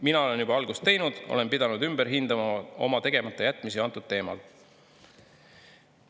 Mina olen juba algust teinud, olen pidanud ümber hindama oma tegematajätmisi antud teemal.